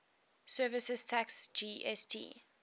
services tax gst